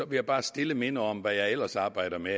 jeg bare stille minde om hvad jeg ellers arbejder med